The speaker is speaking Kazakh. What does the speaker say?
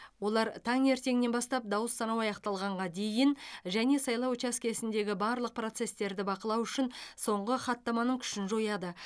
олар таңертеңнен бастап дауыс санау аяқталғанға дейін және сайлау учаскесіндегі барлық процестерді бақылау үшін соңғы хаттаманың күшін жояды